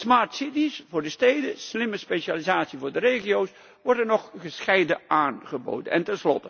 Smart cities voor de steden en slimme specialisatie voor de regio's worden nog gescheiden aangeboden.